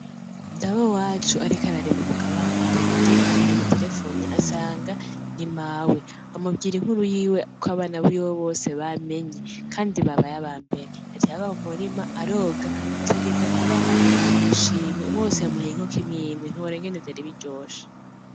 Dawe wacu ariko ararima mukabande yagiye yumva umuntu amaterefonye asanga ni mawe amubwira inkuru yiwe ko abana bose biwe bamenye kandi babaye aba mbere, yaciye ava mu murima aroga aca agenda kubaha agashimwe, bose yabahaye inkoko imwimwe, ntiworaba ingene vyari biryoshe.